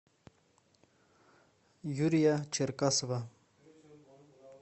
юрия черкасова